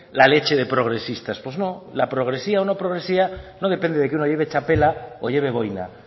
la leche de progresistas pues no la progresividad o no progresividad no depende de que uno lleve chapela o lleve boina